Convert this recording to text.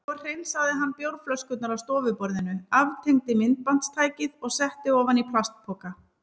Svo hreinsaði hann bjórflöskurnar af stofuborðinu, aftengdi myndbandstækið og setti ofan í plastpoka.